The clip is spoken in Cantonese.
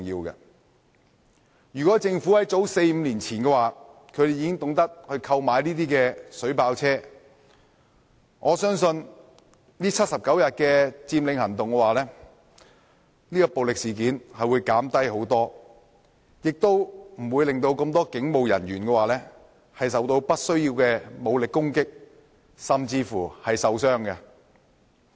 如果政府在早四五年前已經懂得購買水炮車，我相信79天佔領行動期間的暴力事件會大大減低，亦不會令多名警務人員受到不必要的武力攻擊甚至受傷。